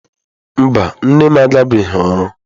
Mba, nne m agabeghị ọrụ.